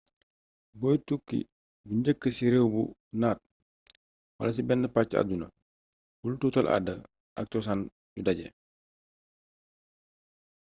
boy tukki bu njëkk ci réew bu naat wala ci benn pacc àdduna bul tuutal aada ak cosaan yu daje